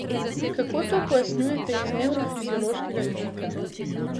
Kako to pojasnjujete z nevrofiziološkega vidika?